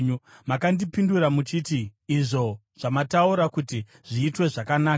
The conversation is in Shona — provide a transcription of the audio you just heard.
Makandipindura muchiti, “Izvo zvamataura kuti zviitwe zvakanaka.”